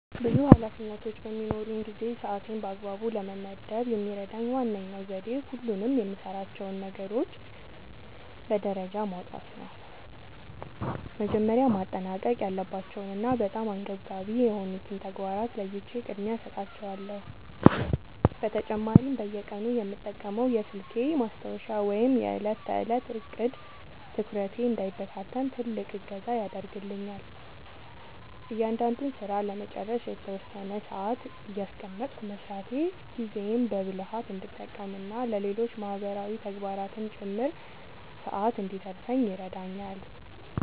ብዙ ኃላፊነቶች በሚኖሩኝ ጊዜ ሰዓቴን በአግባቡ ለመመደብ የሚረዳኝ ዋነኛው ዘዴ ሁሉንም የምሠራቸውን ነገሮች በደረጃ ማውጣት ነው። መጀመሪያ ማጠናቀቅ ያለባቸውንና በጣም አንገብጋቢ የሆኑትን ተግባራት ለይቼ ቅድሚያ እሰጣቸዋለሁ። በተጨማሪም በየቀኑ የምጠቀመው የስልኬ ማስታወሻ ወይም የዕለት ተዕለት ዕቅድ (To-Do List) ትኩረቴ እንዳይበታተን ትልቅ እገዛ ያደርግልኛል። እያንዳንዱን ሥራ ለመጨረስ የተወሰነ ሰዓት እያስቀመጥኩ መሥራቴ ጊዜዬን በብልሃት እንድጠቀምና ለሌሎች ማህበራዊ ተግባራትም ጭምር ሰዓት እንድተርፈኝ ይረዳኛል።